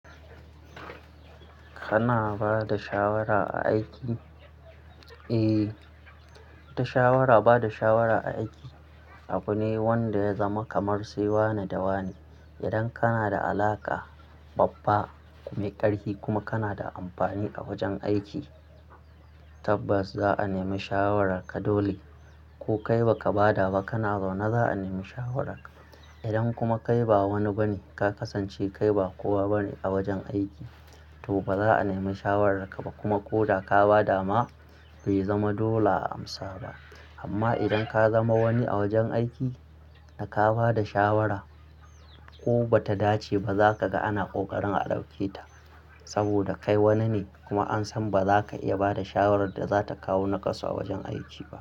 Kana bada shawara a aiki? Eh, ita shawara bada shawara a aiki abu ne wanda ya zama kamar sai wa ne da wa ne. Idan kana da alaƙa babba mai ƙarfi kuma kana da amfani a wajen aiki tabbas za'a nemi shawararka dole. Ko kai ba ka bada ba kana zaune za'a nemi shawararka. Idan kuma kai ba wani ba ne ka kasance kai ba kowa bane a wajen aiki to ba za'a nemi shawararka ba kuma ko da ka bada ma bai zama dole a amsa ba. Amma idan ka zama wani a wajen aiki da ka bada shawara ko ba ta dace ba zaka ga ana ƙoƙarin a dauke ta saboda kai wanine kuma an san ba zaka iya bada shawarar da zata kawo naƙasu a wajen aiki.